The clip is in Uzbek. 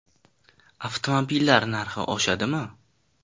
Avtomobillar narxi oshadimi?